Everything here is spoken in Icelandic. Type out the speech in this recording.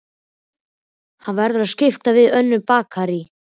Hann verður að skipta við önnur bakarí.